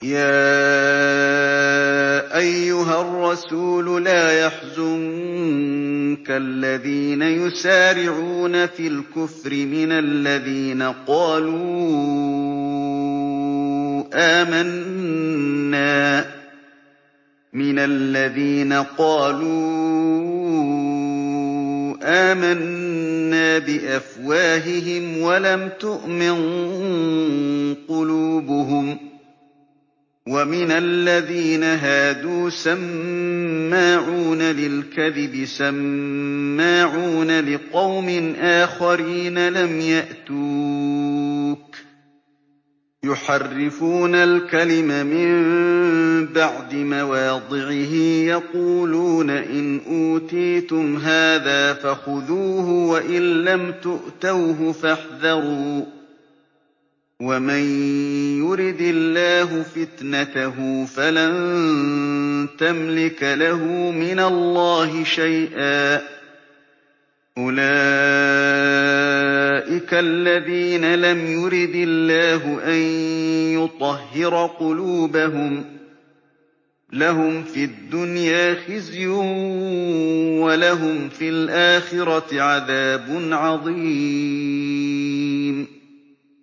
۞ يَا أَيُّهَا الرَّسُولُ لَا يَحْزُنكَ الَّذِينَ يُسَارِعُونَ فِي الْكُفْرِ مِنَ الَّذِينَ قَالُوا آمَنَّا بِأَفْوَاهِهِمْ وَلَمْ تُؤْمِن قُلُوبُهُمْ ۛ وَمِنَ الَّذِينَ هَادُوا ۛ سَمَّاعُونَ لِلْكَذِبِ سَمَّاعُونَ لِقَوْمٍ آخَرِينَ لَمْ يَأْتُوكَ ۖ يُحَرِّفُونَ الْكَلِمَ مِن بَعْدِ مَوَاضِعِهِ ۖ يَقُولُونَ إِنْ أُوتِيتُمْ هَٰذَا فَخُذُوهُ وَإِن لَّمْ تُؤْتَوْهُ فَاحْذَرُوا ۚ وَمَن يُرِدِ اللَّهُ فِتْنَتَهُ فَلَن تَمْلِكَ لَهُ مِنَ اللَّهِ شَيْئًا ۚ أُولَٰئِكَ الَّذِينَ لَمْ يُرِدِ اللَّهُ أَن يُطَهِّرَ قُلُوبَهُمْ ۚ لَهُمْ فِي الدُّنْيَا خِزْيٌ ۖ وَلَهُمْ فِي الْآخِرَةِ عَذَابٌ عَظِيمٌ